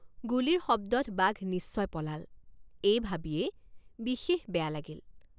গুলীৰ শব্দত বাঘ নিশ্চয় পলাল এই ভাবিয়েই বিশেষ বেয়া লাগিল।